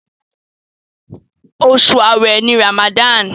Osu aawe ní Ramadan.